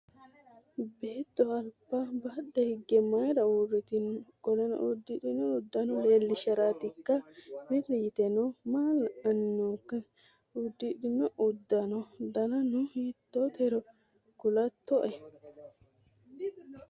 Beetto aliba badhe higge mayiira uurritino? Qoleno udidhino uddano leellisharaatikka? Wirri yiteno maa la'anni nookka? Udidhino uddano danano hiittotero kulatto'e?